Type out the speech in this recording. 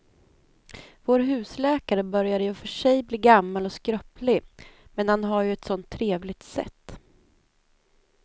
Vår husläkare börjar i och för sig bli gammal och skröplig, men han har ju ett sådant trevligt sätt!